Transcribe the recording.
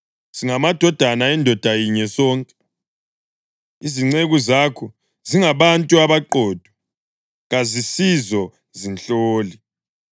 Singamadodana endoda yinye sonke. Izinceku zakho zingabantu abaqotho, kazisizo zinhloli.”